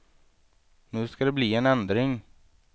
Nu skall det bli en ändring.